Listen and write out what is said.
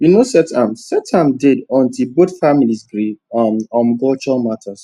we no set um set um date until both families gree um on culture matters